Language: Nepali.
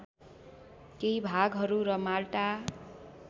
केही भागहरू र माल्टा